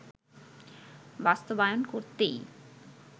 বাস্তবায়ন করতেই